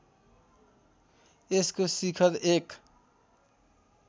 यसको शिखर एक